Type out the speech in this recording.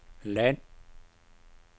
land